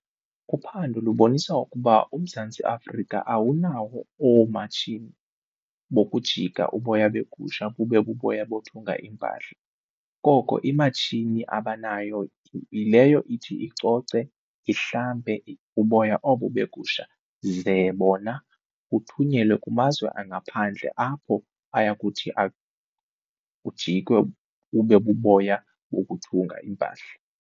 Uphando lubonisa ukuba uMzantsi Afrika awunawo oomatshini bokujika uboya begusha bube buboya bothunga iimpahla, koko imatshini abanayo yileyo ithi icoce, ihlambe uboya obo begusha ze bona kuthunyelwe kumazwe angaphandle apho ayakuthi ujikwe bube buboya bokuthunga iimpahla.